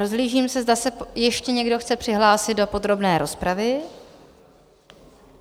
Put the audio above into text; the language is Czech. Rozhlížím se, zda se ještě někdo chce přihlásit do podrobné rozpravy?